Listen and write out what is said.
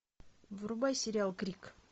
врубай сериал крик